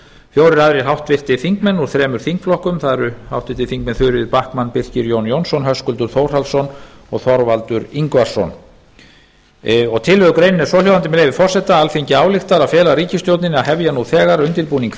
fjórir aðrir háttvirtir þingmenn úr þremur þingflokkur það eru háttvirtir þingmenn þuríður backman birkir j jónsson höskuldur þórhallsson og þorvaldur ingvarsson tillögugreinin er svohljóðandi með leyfi forseta alþingi ályktar að fela ríkisstjórninni að hefja nú þegar undirbúning